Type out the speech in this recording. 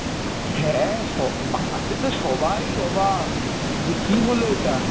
হ্যাঁ সব, পাড়াতে তো সবাই অবাক যে কী হলো এটা?